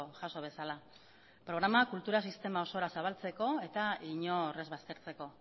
jaso bezala programa kultura sistema osora zabaltzeko eta inor ez baztertzeko